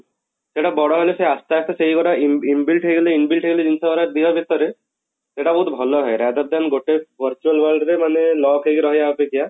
ସେଟା ବଡ ହେଲେ ସେ ଆସ୍ତେ ଆସ୍ତେ ସେଇ ଗୁରା in inbuilt ହେଇଗଲେ inbuilt ହେଇଗଲେ ଜିନିଷ ଗୁଡା ଦେହ ଭିତରେ ସେଟା ବହୁତ ଭଲ ହେ rather than ଗୋଟେ virtual world ରେ ମାନେ lock ହେଇକି ରହିବା ଅପେକ୍ଷା